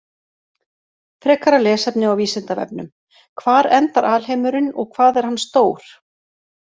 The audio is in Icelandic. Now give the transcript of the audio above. Frekara lesefni á Vísindavefnum: Hvar endar alheimurinn og hvað er hann stór?